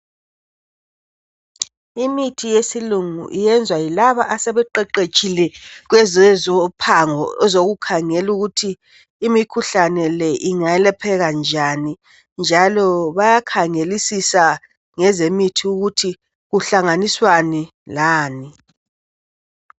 Imithi yesilungu iyenzwa yilaba asebeqeqetshile kwezezophango ezokukhangela ukuthi imikhuhlane le ingelapheka njani ,njalo bayakhangelisisa ngezemithi ukuthi kuhlanganiswani lani.